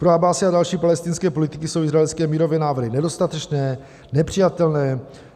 Pro Abbáse a další palestinské politiky jsou izraelské mírové návrhy nedostatečné, nepřijatelné.